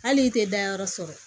Hali i tɛ dayɔrɔ sɔrɔ